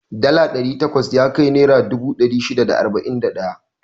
Dala ɗari takwas yakai naira dubu ɗari shida da arba'in da ɗaya.